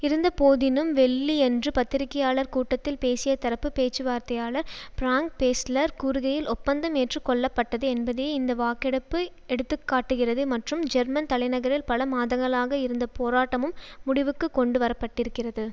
இருந்த போதினும் வெள்ளியன்று பத்திரிகையாளர் கூட்டத்தில் பேசிய தரப்பு பேச்சுவார்த்தையாளர் பிரான்க் பேஸ்லெர் கூறுகையில் ஒப்பந்தம் ஏற்ற கொள்ளப்பட்டது என்பதையே இந்த வாக்கெடுப்பு எடுத்து காட்டுகிறது மற்றும் ஜெர்மன் தலைநகரில் பல மாதங்களாக இருந்த போராட்டமும் முடிவுக்கு கொண்டு வர பட்டிருக்கிறது